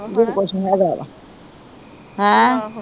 ਹੋਰ ਕੁਛ ਨੀ ਹੇਗਾ ਏਦਾਂ ਹੈ ਅਹ